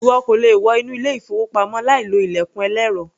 Ìwọ kò le wọ inú ilé-ìfowópamọ́ láìlo ilẹ̀kùn ẹlẹ́rọ.